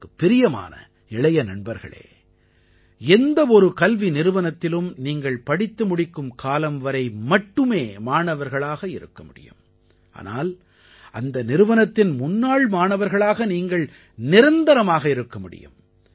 எனக்குப் பிரியமான இளைய நண்பர்களே எந்த ஒரு கல்வி நிறுவனத்திலும் நீங்கள் படித்து முடிக்கும் காலம் வரை மட்டுமே மாணவர்களாக இருக்க முடியும் ஆனால் அந்த நிறுவனத்தின் முன்னாள் மாணவர்களாக நீங்கள் நிரந்தரமாக இருக்க முடியும்